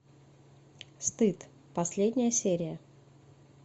стыд последняя серия